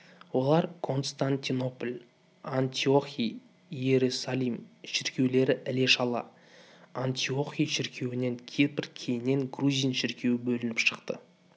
олар константинопль антиохий иерусалим шіркеулері іле шала антиохий шіркеуінен кипр кейіннен грузин шіркеуі бөлініп шықты